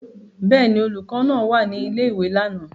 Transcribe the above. Bẹ́ẹ̀ ni, olùkọ́ náà wà ní ilé-ìwé lánàá.